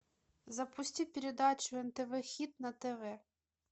запусти передачу нтв хит на тв